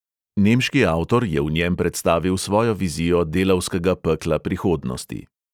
Nemški avtor je v njem predstavil svojo vizijo delavskega pekla prihodnosti.